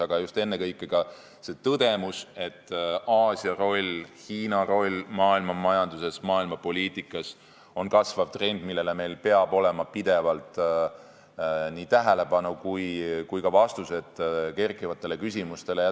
Aga ennekõike oli seal tõdemus, et Aasia ja Hiina roll maailmamajanduses, maailmapoliitikas on kasvav trend, millele me peame pidevalt tähelepanu pöörama ja meil peavad olema vastused kerkivatele küsimustele.